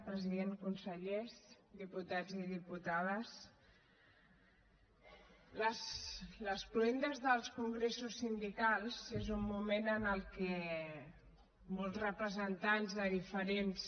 president consellers diputats i diputades les cloendes dels congressos sindicals són un moment en què molts representants de diferents